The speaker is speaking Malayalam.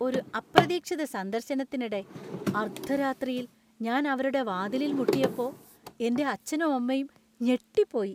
ഒരു അപ്രതീക്ഷിത സന്ദർശനത്തിനിടെ അർദ്ധരാത്രിയിൽ ഞാൻ അവരുടെ വാതിലിൽ മുട്ടിയപ്പോ എന്‍റെ അച്ഛനും, അമ്മയും ഞെട്ടിപ്പോയി.